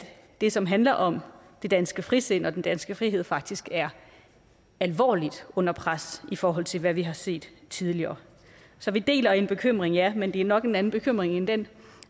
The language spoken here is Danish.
det som handler om det danske frisind og den danske frihed faktisk er alvorligt under pres i forhold til hvad vi har set tidligere så vi deler en bekymring ja men det er nok en anden bekymring end den